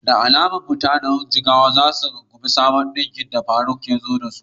Da alama mutanen Jigawa za su rungumi sabbin salon ɗinkin da Yaqub ya ɓullo da su.